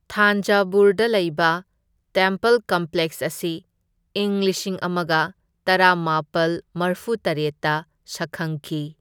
ꯊꯥꯟꯖꯚꯨꯔꯗ ꯂꯩꯕ temple complex ꯑꯁꯤ ꯢꯪ ꯂꯤꯁꯤꯡ ꯑꯃꯒ ꯇꯔꯥꯃꯥꯄꯜ ꯃꯔꯐꯨꯇꯔꯦꯠꯇ ꯁꯛꯈꯪꯈꯤ꯫